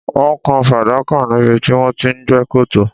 Wọ́n kan fàdákà níbi tí wọ́n ti ń gbẹ́ kòtò